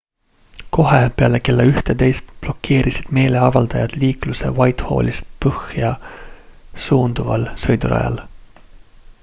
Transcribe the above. kohe peale kella 11 blokeerisid meeleavaldajad liikluse whitehallist põhja suunduval sõidurajal